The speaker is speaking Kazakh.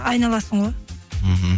айналасың ғой мхм